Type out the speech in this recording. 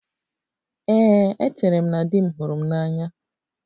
Ee, echere m na di m hụrụ m n'anya